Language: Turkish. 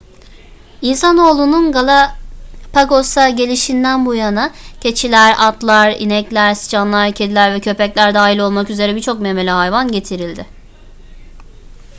i̇nsanoğlunun galapagos'a gelişinden bu yana keçiler atlar inekler sıçanlar kediler ve köpekler dahil olmak üzere birçok memeli hayvan getirildi